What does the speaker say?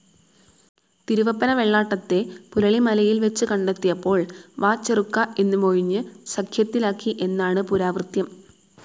തിരുവപ്പന വെള്ളാട്ടത്തെ പുരളിമലയിൽ വെച്ചു കണ്ടെത്തിയപ്പോൾ വാചെറുക്കാ എന്ന് മൊഴിഞ്ഞു സഖ്യത്തിലാക്കി എന്നാണു പുരാവൃത്തം.